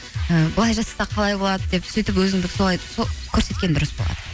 і былай жасасақ қалай болады деп сөйтіп өзіңді солай көрсеткен дұрыс болады